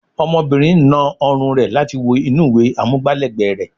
Ọmọbìnrin na ọrùn rẹ̀ láti wo inú ìwé amúgbá lẹ́ẹ̀gbẹ́ rẹ̀